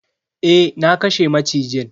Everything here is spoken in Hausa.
Eh, na kashe macijin.